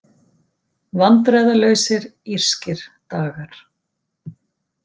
Vandræðalausir írskir dagar